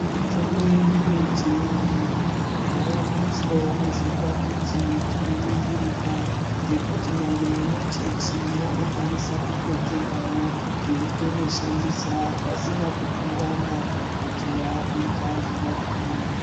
Mitombo yedu yechiantu yavakuiswawo muzvipakiti zvinoningirika zvekuti kunyangwe vemachechi vanokwanisa kutotengawo veitombo shandisa pasina kumhurana kuti wakuita zvemadhimoni.